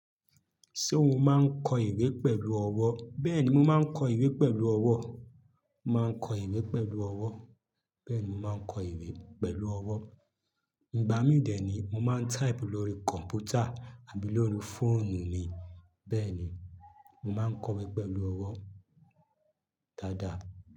Ṣé o máa ń kọ ìwé pẹ̀lú ọwọ́? Bẹ́ẹ̀ni, mo máa ń kọ ìwé pẹ̀lú ọwọ́. Mo máa ń kọ ìwé pẹ̀lú ọwọ́. Bẹ́ẹ̀ni, mo máa ń kọ ìwé pẹ̀lú ọwọ́. Ìgbà mí dì ni mo máa ń type lórí kọ̀npútà àbí lórí fóònù ni, bẹ́ẹ̀ ni, mo máa ń kọ̀wé pẹ̀lú ọwọ́ dáadáa.